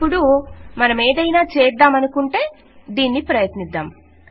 ఇప్పుడు నేనేమైనా చేయాలనుకుంటే దీన్ని ప్రయత్నిద్దాం